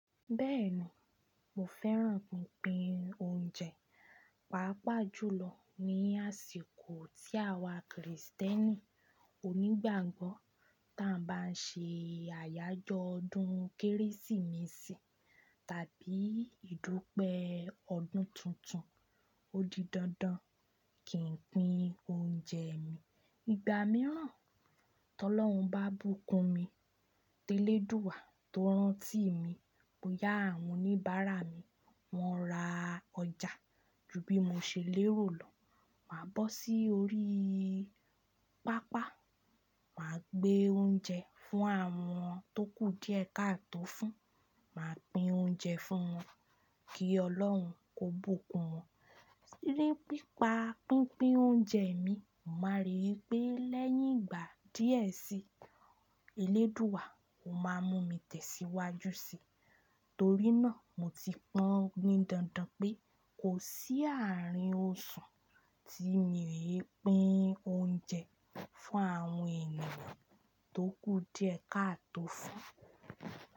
Bẹ́ẹ̀ni, mo fẹ́ràn pinpin oúnjẹ, pàápàá jùlọ ní àsìkò tí àwa Krìstẹ́nì ònígbàgbọ́ táa bá ń ṣe àyájọ́ ọdún Kérésìmesì tàbí ìdúpẹ́ ọdún tuntun. Ó di dandan kí n pín oúnjẹ mi. Ìgbà mìíràn, tí Ọlọ́run bá bùkún mi, télè Dúà tó rántí mi, mo yá àwọn oníbàárà mi, wọ́n ra ọjà ju bí mo ṣe lérò lọ, màá bọ́ si órí pápá, màá gbé oúnjẹ fún àwọn tókú díẹ̀ ká tó fún, màá pín oúnjẹ fún wọn kí Ọlọ́run kó bùkún wọn. Ni pípa pínpín oúnjẹ mi, mo máa rí i pé lẹ́yìn ìgbà díẹ̀ sí i, eléèdúà ò máa mú mi tẹ̀síwájú sí i, torí náà mo ti pọ́n ni dandan pé kò sí àárín òṣùn tí mi o i pín oúnjẹ fún àwọn ènìyàn tókú díẹ̀ ká tó fún.